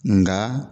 Nka